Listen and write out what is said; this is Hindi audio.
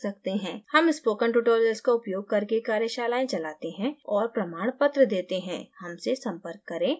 हम spoken tutorials का उपयोग करके कार्यशालाएं चलाते हैं और प्रमाणपत्र देते हैं हमसे संपर्क करें